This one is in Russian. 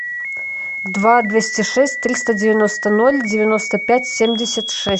два двести шесть триста девяносто ноль девяносто пять семьдесят шесть